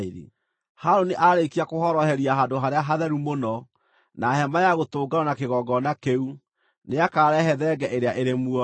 “Harũni aarĩkia kũhoroheria Handũ-harĩa-Hatheru-Mũno, na Hema-ya-Gũtũnganwo na kĩgongona kĩu, nĩakarehe thenge ĩrĩa ĩrĩ muoyo.